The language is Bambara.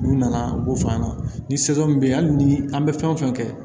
N'u nana u b'o f'an ɲɛna ni min be yen hali ni an be fɛn fɛn kɛ